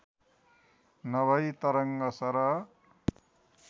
नभई तरङ्ग सरह